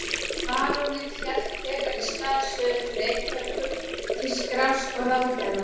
Baróninn hélt þegar í stað suður til Reykjavíkur til skrafs og ráðagerða.